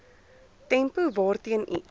tempo waarteen iets